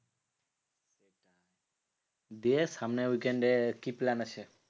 দিয়ে সামনের weekend এ কি plan আছে?